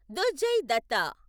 Durjay Datta